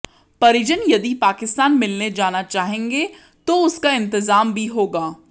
परिजन यदि पाकिस्तान मिलने जाना चाहेंगे तो उसका इंतजाम भी होगा